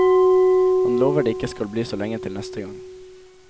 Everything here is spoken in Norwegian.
Han lover det ikke skal bli så lenge til neste gang.